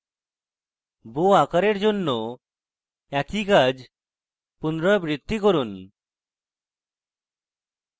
bow আকারের জন্য একই কাজ পুনরাবৃত্তি করুন